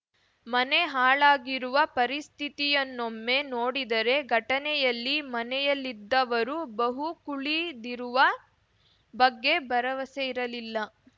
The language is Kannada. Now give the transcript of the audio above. ಮನೆ ಹಾಳಾಗಿರುವ ಪರಿಸ್ಥಿತಿಯನ್ನೊಮ್ಮೆ ನೋಡಿದರೇ ಘಟನೆಯಲ್ಲಿ ಮನೆಯಲ್ಲಿದ್ದವರೂ ಬಹುಕುಳಿದಿರುವ ಬಗ್ಗೆ ಭರವಸೆ ಇರಲಿಲ್ಲ